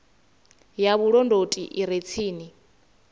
ya vhulondoti i re tsini